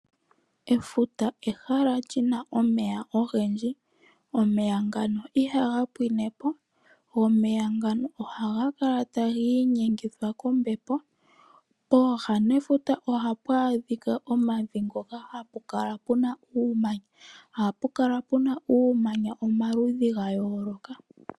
Efuta ehala lyina omeya ogendji, omeya ngano ihaga pwine po go omeya ngano ohaga kala tagi inyengithwa kombepo. Pooha nefuta ohapu adhika omavi ngoka hapu kala puna uumanya, ohapu kala puna uumanya omaludhi gayooloka.